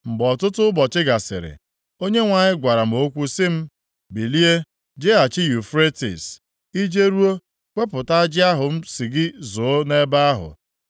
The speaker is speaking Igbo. Mgbe ọtụtụ ụbọchị gasịrị, Onyenwe anyị gwara m okwu sị m, “Bilie, jeghachi Yufretis. I jeruo, wepụta ajị ahụ m sị gị zoo nʼebe ahụ.”